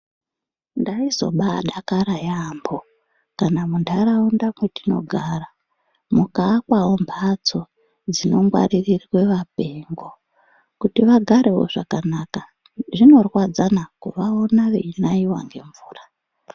Ndaizoba dakara yambo kana muntaraunda mwatinogara mukaakwawo mbatso dzinongwarirwa apengo kuti vagarewo zvakanaka zvinorwadzana kuvaona vechinaiwa nemvura.